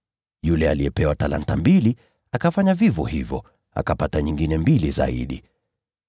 Yule aliyepewa talanta mbili akafanya vivyo hivyo, akapata nyingine mbili zaidi.